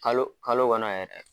Kalo kalo kɔnɔ yɛrɛ